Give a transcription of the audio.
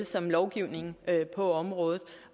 som lovgivningen på området